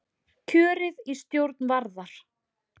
Kjörið í stjórn Varðar